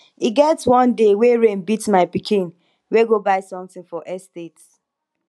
e get one day wey rain beat my pikin wey go buy something for estate